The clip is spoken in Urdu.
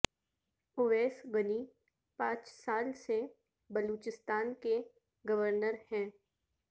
اویس غنی پانچ سال سے بلوچستان کے گورنر ہیں